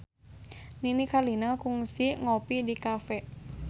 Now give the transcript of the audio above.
Nini Carlina kungsi ngopi di cafe